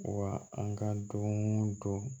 Wa an ka don o don